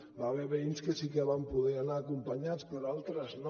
hi va haver veïns que sí que van poder anar acompanyats però altres no